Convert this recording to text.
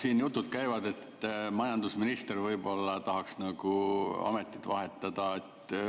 Siin käivad jutud, et majandusminister võib-olla tahaks ametit vahetada.